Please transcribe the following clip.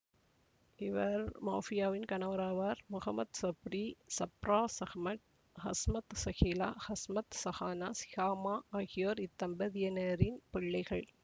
இவர் மௌபியாவின் கணவராவார் முகமட் சப்ரி சப்ராஸ் அகமட் ஹஸ்மத் ஸகீலா ஹஸ்மத் ஸஹானா சிஹாமா ஆகியோர் இத்தம்பதியினரின் பிள்ளைகள்